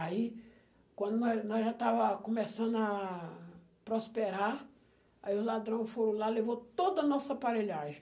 Aí, quando nós nós já estáva começando a prosperar, aí os ladrões foram lá e levou toda a nossa aparelhagem.